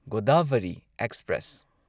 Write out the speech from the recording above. Godavari express